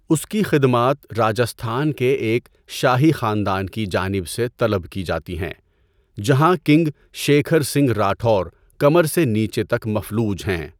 اس کی خدمات راجستھان کے ایک شاہی خاندان کی جانب سے طلب کی جاتی ہیں جہاں کنگ شیکھر سنگھ راٹھور کمر سے نیچے تک مفلوج ہیں۔